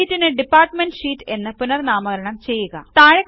ഷീറ്റിനു department sheet എന്ന് പുനർനാമകരണം ചെയ്യുക